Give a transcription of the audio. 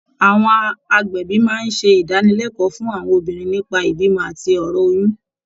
Àwọn agbẹ̀bí máa ń ṣe ìdánilẹ́kọ̀ọ́ fún àwọn obìnrin nípa ìbímọ àti ọ̀rọ̀ oyún